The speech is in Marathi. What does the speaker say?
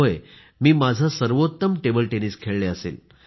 होय मी माझे सर्वोत्तम टेबल टेनिस खेळली असेल